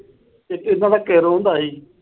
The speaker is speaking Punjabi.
ਤੇ ਇੱਕ ਇਦਾਂ ਦਾ ਇੱਕ ਕੈਰੋਂ ਹੁੰਦਾ ਸੀ।